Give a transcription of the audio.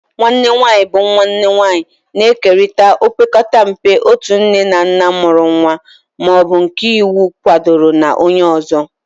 Nwanne nwanyị bụ nwanne nwanyị, na-ekerịta opekata mpe otu nne na nna mụrụ nwa ma ọ bụ nke iwu kwadoro na onye ọzọ.